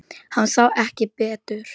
Hann sá ekki betur.